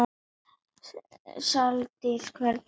Saldís, hvernig er veðrið í dag?